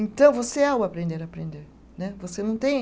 Então, você é o aprender a aprender né. Você não tem